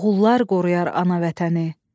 Oğullar qoruyar ana vətəni.